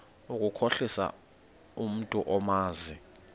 ukukhohlisa umntu omazi